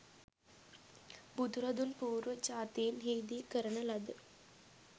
බුදුරදුන් පූර්ව ජාතීන් හිදී කරන ලද